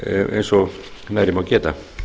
eins og nærri má geta